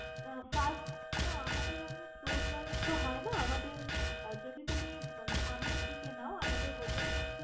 আহ First না আমাদের অমনে floorwise তো হয়না, আমাদের আহ যদি তুমি মানে সামনের দিকে নাও আমাদের hotel টা এক